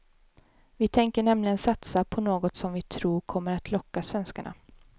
Vi tänker nämligen satsa på något som vi tror kommer att locka svenskarna.